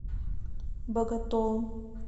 боготолом